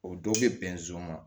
O dɔw bɛ bɛn zon ma